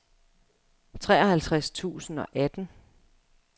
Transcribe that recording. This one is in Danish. treoghalvtreds tusind og atten